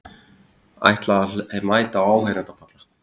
Ætla að mæta á áheyrendapalla